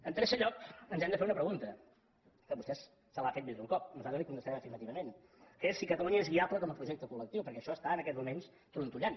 en tercer lloc ens hem de fer una pregunta que vostè se l’ha fet més d’un cop nosaltres la hi contestarem afirmativament que és si catalunya és viable com a projecte col·lectiu perquè això està en aquests moments trontollant